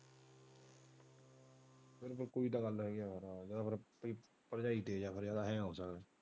ਇਹਦੇ ਮਤਲਬ ਫਿਰ ਭਰਜਾਈ ਤੇਜ ਆ ਜਿਆਦਾ ਫਿਰ .